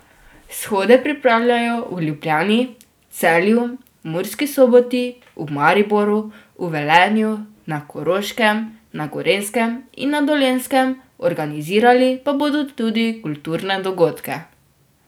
Shode pripravljajo v Ljubljani, Celju, Murski Soboti, v Mariboru, v Velenju, na Koroškem, na Gorenjskem in na Dolenjskem, organizirali pa bodo tudi kulturne dogodke.